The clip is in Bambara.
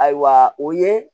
Ayiwa o ye